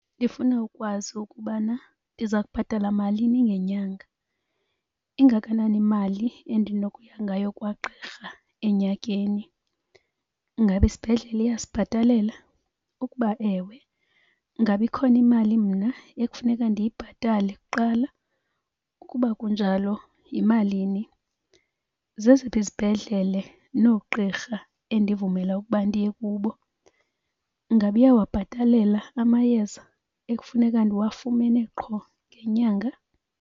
Ndifuna ukwazi ukubana ndiza kubhatala malini ngenyanga. Ingakanani imali endinokuya ngayo kwagqirha enyakeni? Ingaba isibhedlele iyasibhatalela? Ukuba ewe, ngaba ikhona imali mna ekufuneka ndiyibhatale kuqala? Ukuba kunjalo, yimalini? Zeziphi izibhedlele noogqirha endivumela ukuba ndiye kubo? Ingaba iyawabhatalela amayeza ekufuneka ndiwafumene qho ngenyanga?